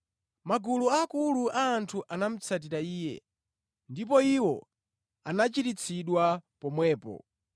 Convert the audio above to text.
Magulu akulu a anthu anamutsatira Iye, ndipo iwo anachiritsidwa pomwepo.